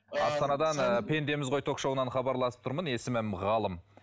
астанадан ы пендеміз ғой ток шоуынан хабарласып тұрмын есімім ғалым